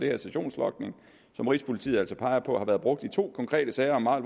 her sessionslogning som rigspolitiet altså peger på har været brugt i to konkrete sager om meget